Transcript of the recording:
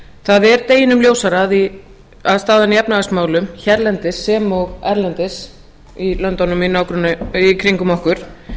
það er deginum ljósara að staðan í efnahagsmálum hérlendis sem og erlendis í löndunum í kringum okkur